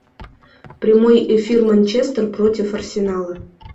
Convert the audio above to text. прямой эфир манчестер против арсенала